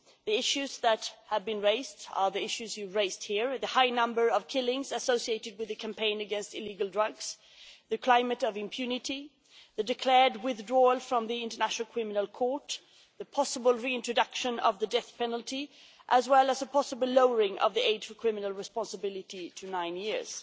The issues that have been raised are the issues you raised here the high number of killings associated with the campaign against illegal drugs, the climate of impunity, the declared withdrawal from the International Criminal Court, the possible reintroduction of the death penalty, as well as a possible lowering of the age for criminal responsibility to nine years.